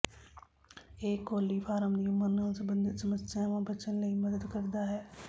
ਇਹ ਕੋਲੀਫਾਰਮ ਦੀ ਉਮਰ ਨਾਲ ਸਬੰਧਤ ਸਮੱਸਿਆ ਬਚਣ ਲਈ ਮਦਦ ਕਰਦਾ ਹੈ